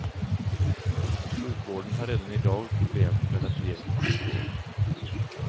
Sjukvården har redan i dag problem med att ge god vård.